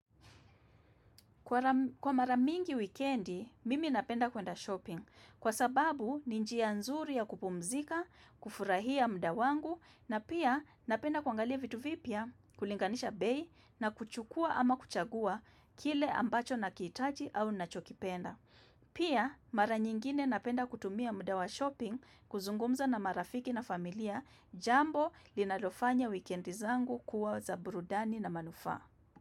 Kwa mara mingi wikendi, mimi napenda kuenda shopping. Kwa sababu, ni njia nzuri ya kupumzika, kufurahia muda wangu, na pia napenda kuangalia vitu vipya, kulinganisha bei, na kuchukua ama kuchagua kile ambacho nakihitaji au nacho kipenda. Pia, mara nyingine napenda kutumia muda wa shopping kuzungumza na marafiki na familia jambo linalofanya wikendi zangu kuwa za burudani na manufaa.